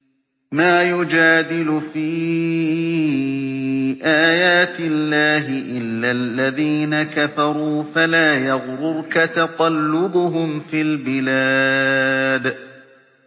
مَا يُجَادِلُ فِي آيَاتِ اللَّهِ إِلَّا الَّذِينَ كَفَرُوا فَلَا يَغْرُرْكَ تَقَلُّبُهُمْ فِي الْبِلَادِ